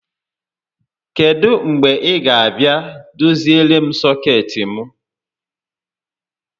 Kedụ mgbe ị ga abịa doziere m sọkeetị m?